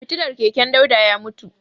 Fitilar keken Dauda ya mutu.